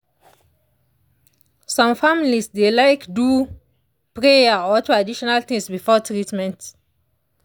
some families dey like do prayer or traditional things before treatment.